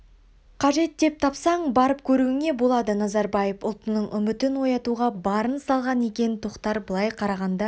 қажет деп тапсаң барып көруіңе болады назарбаев ұлтының үмітін оятуға барын салған екен тоқтар былай қарағанда